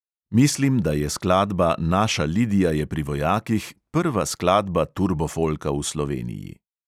Mislim, da je skladba naša lidija je pri vojakih prva skladba turbofolka v sloveniji.